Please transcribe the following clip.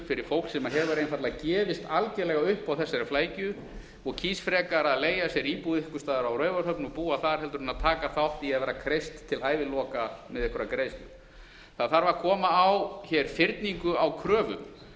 fyrir fólk sem hefur einfaldlega gefist algjörlega upp á þessari flækju og kýs frekar að leigja sér íbúð einhvers staðar á raufarhöfn og búa þar en að taka þátt í því að vera kreist til æviloka með einhverjar greiðslur það þarf að koma á hér fyrningu á kröfum